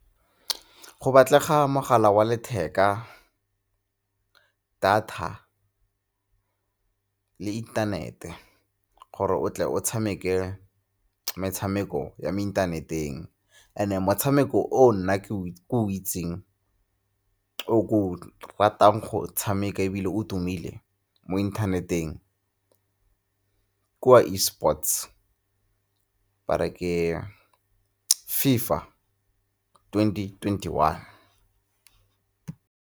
Go batlega mogala wa letheka, data le inthanete, gore o tle o tshameke metshameko ya mo internet-eng. And-e motshameko o nna ke o itseng o ke o ratang go o tshameka ebile o tumile mo inthaneteng ke wa e-sports ba re ke FIFA twenty twenty-one.